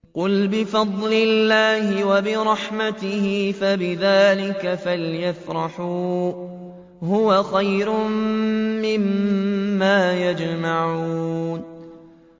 قُلْ بِفَضْلِ اللَّهِ وَبِرَحْمَتِهِ فَبِذَٰلِكَ فَلْيَفْرَحُوا هُوَ خَيْرٌ مِّمَّا يَجْمَعُونَ